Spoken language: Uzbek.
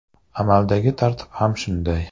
Amaldagi tartib ham shunday.